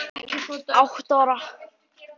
Átta ára.